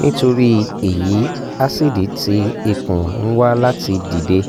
nitori eyi acid ti ikun n wa lati dide